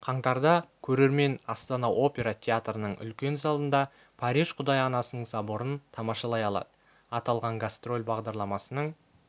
қаңтарда көрермен астана опера театрының үлкен залында париж құдай анасының соборын тамашалай алады аталған гастроль бағдарламасының